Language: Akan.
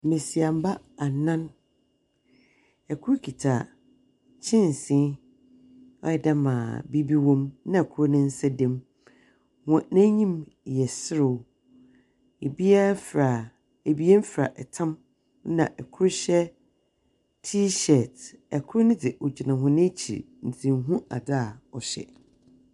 Mbasiamba anan, kor kitsa kyɛnse, ɔyɛ dɛ dza biribi wɔ mu na kor ne nsa da mu. Hɔn enyim yɛ serew, obiara fura ebien fura tam na kor hyɛ T-shirt. Kor no dze, ogyina hɔn ekyir ntsi nnhu adze a ɔhyɛ.